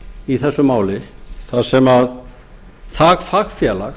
í þessu máli þar sem það fagfélag